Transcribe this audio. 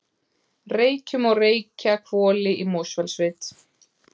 Reykjum og Reykjahvoli í Mosfellssveit.